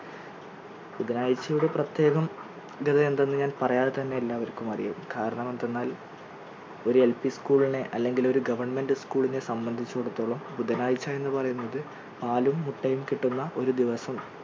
ബുധനാഴ്ചയുടെ പ്രത്യേകം എന്തെന്ന് ഞാൻ പറയാതെ തന്നെ എല്ലാവർക്കും അറിയാം കാരണം എന്തെന്നാൽ ഒരു LP school നെ അല്ലെങ്കിൽ ഒരു government school നെ സംബന്ധിച്ചിടത്തോളം ബുധനാഴ്ച എന്ന് പറയുന്നത് പാലും മുട്ടയും കിട്ടുന്ന ഒരു ദിവസവും,